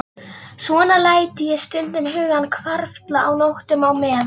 Svona læt ég stundum hugann hvarfla á nóttum, á meðan